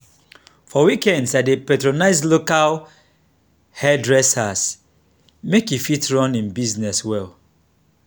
for weekends i dey patronize local hairdresser make e fit run im business well.